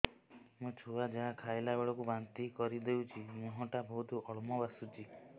ମୋ ଛୁଆ ଯାହା ଖାଇଲା ବେଳକୁ ବାନ୍ତି କରିଦଉଛି ମୁହଁ ଟା ବହୁତ ଅମ୍ଳ ବାସୁଛି